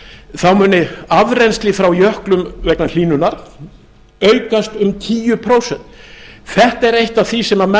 þá muni afrennsli frá jöklum vegna hlýnunar aukast um tíu prósent þetta er eitt af því sem menn